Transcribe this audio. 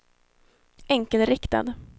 enkelriktad